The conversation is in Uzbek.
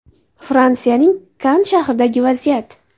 Fransiyaning Kann shahridagi vaziyat.